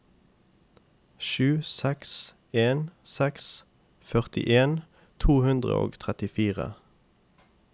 sju seks en seks førtien to hundre og trettifire